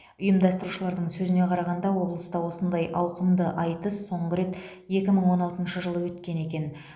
ұйымдастырушылардың сөзіне қарағанда облыста осындай ауқымды айтыс соңғы рет екі мың он алтыншы жылы өткен екен